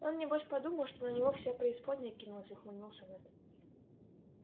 он небось подумал что на него вся преисподняя кинулась ухмыльнулся мэтт